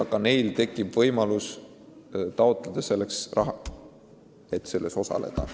Ka teistel tekib võimalus taotleda raha, et projektis osaleda.